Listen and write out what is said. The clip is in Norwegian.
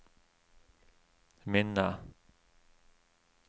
minne